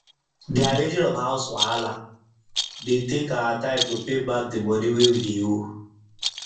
d arranging of house wahala de take our time to pay back d money wey we wey we de owe